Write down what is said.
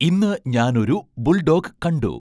ഇന്ന് ഞാൻ ഒരു ബുൾഡോഗ് കണ്ടു